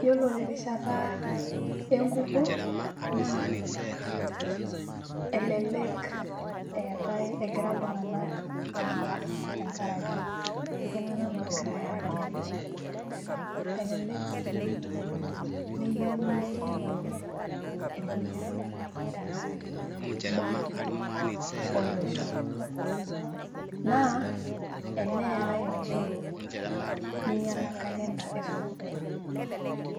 iyiolo terishata enkukuo naa elelek eetae egira iltunganak aara tenkaraki iltunganak loogirae aagelu, elelelek sii meyieuni negeluni ilkulie tunganak, tenkaraki imbaa ake olosho. naa eneerae oleng neingiela calender esukuul.